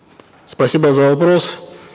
спасибо за вопрос